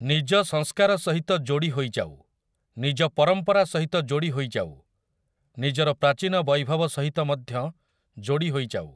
ନିଜ ସଂସ୍କାର ସହିତ ଯୋଡ଼ି ହୋଇଯାଉ, ନିଜ ପରମ୍ପରା ସହିତ ଯୋଡ଼ି ହୋଇଯାଉ, ନିଜର ପ୍ରାଚୀନ ବୈଭବ ସହିତ ମଧ୍ୟ ଯୋଡ଼ି ହୋଇଯାଉ ।